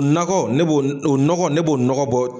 Nakɔ ne b'o, o nɔgɔ ne b'o nɔgɔ bɔ